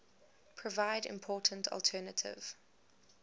provide important alternative